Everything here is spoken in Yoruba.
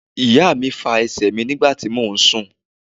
Ìyá mi fa ẹsẹ̀ mi nígbà tí mò ún sùn